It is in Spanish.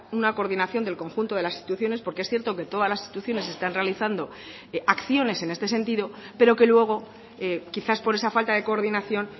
una coordinación del conjunto de las instituciones porque es cierto que todas las instituciones están realizando acciones en este sentido pero que luego quizás por esa falta de coordinación